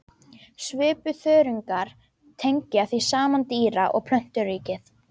Svipuþörungar tengja því saman dýra- og plönturíkið.